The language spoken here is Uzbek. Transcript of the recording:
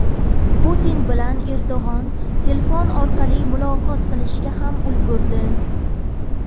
Putin bilan Erdo‘g‘on telefon orqali muloqot qilishga ham ulgurdi .